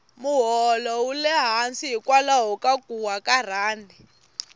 moholo wule hansi hikwalaho ka kuwa ka rhandi